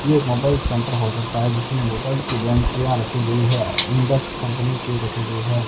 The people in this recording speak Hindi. ये एक मोबाइल सेंटर हो सकता है जिसमें मोबाइल की रखी गई है इंटेक्स कंपनी की रखी गई है।